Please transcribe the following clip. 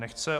Nechce.